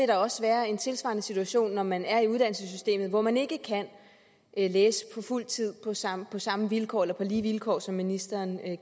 der også være en tilsvarende situation når man er i uddannelsessystemet hvor man ikke kan læse på fuld tid på samme samme vilkår eller på lige vilkår som ministeren